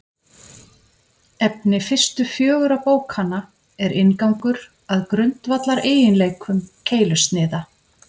Efni fyrstu fjögurra bókanna er inngangur að grundvallareiginleikum keilusniða.